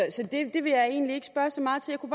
det vil jeg egentlig i